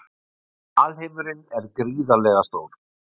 Alheimurinn er gríðarlega stór.